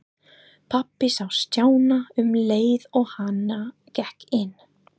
Pabbi sá Stjána um leið og hann gekk inn.